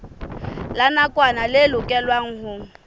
la nakwana le lokelwang ho